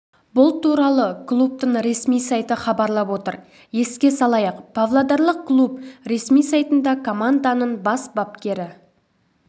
бұл туралы клубтың ресми сайты хабарлап отыр еске салайық павлодарлық клуб ресми сайтында команданың бас бапкері